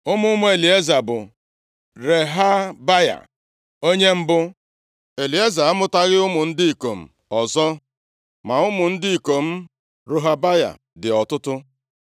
Ụmụ ụmụ Elieza bụ Rehabaya onye mbụ. Elieza amụtaghị ụmụ ndị ikom ọzọ, ma ụmụ ndị ikom Rohabaya dị ọtụtụ.